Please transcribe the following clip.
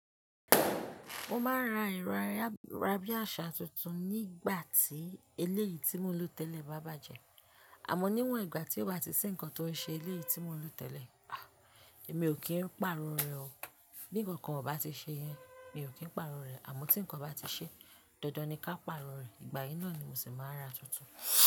Mo máa ra ẹ̀rọ ayárabíàṣá tuntun nígbà tí eléyìí tí mò ń lò tẹ́lẹ̀ bá bàjẹ́. Àmọ́ níwọ̀n ìgbà tí o ba ti si nǹkan tó ń ṣe eléyìí tí mò ń lò tẹ́lẹ̀, à, emi ò kí n pàrọ̀ rẹ̀ o. Bí nǹkankan ò bá ti ṣe yẹn, mi ò kí n pàrọ̀ rẹ̀. Àmọ́ tí nǹkan bá ti ṣe, dandan ni ka pàrọ̀ rẹ̀. Ìgbà yí náà ni mo sì máa ra tuntun.